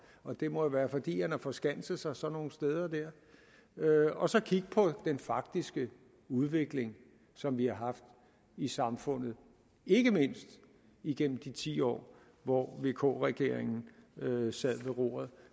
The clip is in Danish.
og det må jo være fordi han har forskanset sig sådan nogle steder der og så kigge på den faktiske udvikling som vi har haft i samfundet ikke mindst igennem de ti år hvor vk regeringen sad ved roret